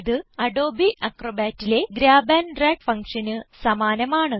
ഇത് അഡോബ് Acrobatലെ grab and drag function സമാനമാണ്